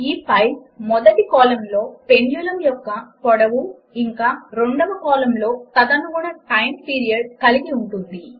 ఈ ఫైలు మొదటి కాలమ్లో పెండ్యులమ్ యొక్క పొడవు ఇంకా రెండవ కాలమ్లో తదనుగుణ టైం పీరియడ్ కలిగి ఉంటుంది